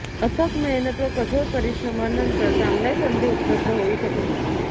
अथक मेहनत व कठोर परिश्रमांनंतर चांगल्या संधी उपलब्ध होऊ शकतील